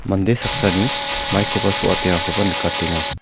mande saksani maikoba so·atengakoba nikatenga.